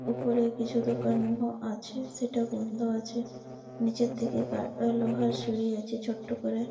উপরে কিছু দোকান ব আছে সেটা বন্ধ আছে নিচের থেকে পার অ লোহার সিঁড়ি আছে ছোট্ট করে।